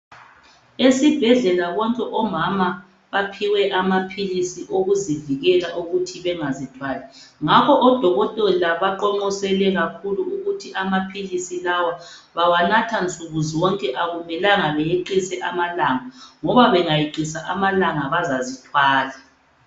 Esibhedlela bonke omama baphiwe amaphilisi okuzivikela ukuthi bengazithwali ngakho odokotela baqonqosele kakhulu ukuthi amaphilisi lawa bawanatha nsukuzonke akumelanga beyeqise amalanga ngoba bangayeqisa amalanga bazazithwala